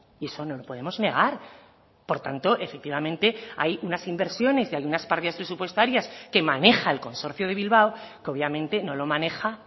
y eso no lo podemos negar por tanto efectivamente hay unas inversiones y hay unas partidas presupuestarias que maneja el consorcio de bilbao que obviamente no lo maneja